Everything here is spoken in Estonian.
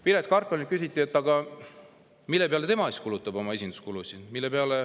Piret Hartmanilt küsiti, mille peale siis tema oma esinduskulusid kulutab.